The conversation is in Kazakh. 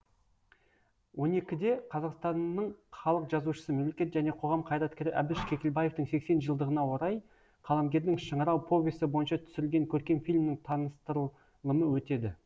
он екіде қазақстанның халық жазушысы мемлекет және қоғам қайраткері әбіш кекілбаевтың сексен жылдығына орай қаламгердің шыңырау повесі бойынша түсірілген көркем фильмнің таныстырлымы өтеді